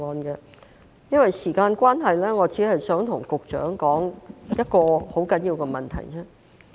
由於時間關係，我只想向局長提出一個十分重要的問題。